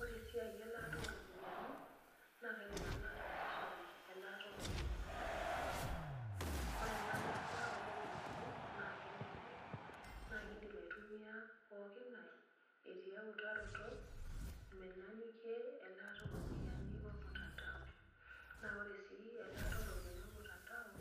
Ore esiai elaata oropiyani na kaidim nanu ataasishore elaata oropiyani esimu ,ore enalaata oropiyiani na kelelek nakidim aitumia pookin ngae etii eutaroto menyanyukie elaata oropiyani ormutandao na ore si elaata oropiyani ormutandao